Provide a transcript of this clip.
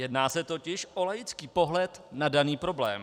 Jedná se totiž o laický pohled na daný problém.